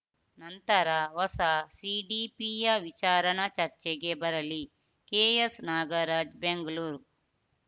ನಂತರ ಹೊಸ ಸಿಡಿಪಿಯ ವಿಚಾರಣ ಚರ್ಚೆಗೆ ಬರಲಿ ಕೆಎಸ್‌ ನಾಗರಾಜ್‌ ಬೆಂಗಳೂರು